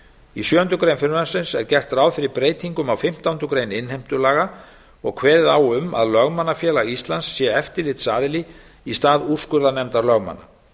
í sjöundu greinar frumvarpsins er gert ráð fyrir breytingum á fimmtándu grein innheimtulaga og kveðið á um að lögmannafélag íslands sé eftirlitsaðili í stað úrskurðarnefndar lögmanna